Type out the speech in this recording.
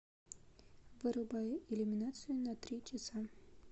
вырубай иллюминацию на три часа